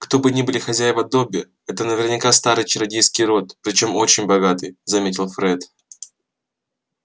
кто бы ни были хозяева добби это наверняка старый чародейский род причём очень богатый заметил фред